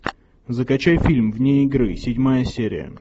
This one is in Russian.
закачай фильм вне игры седьмая серия